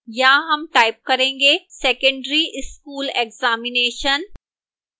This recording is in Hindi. यहां हम type करेंगे secondary school examination